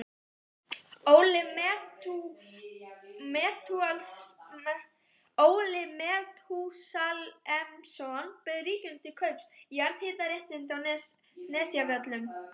Óli Metúsalemsson bauð ríkinu til kaups jarðhitaréttindi á Nesjavöllum.